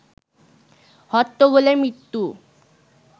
হট্টগোলে মৃত্যু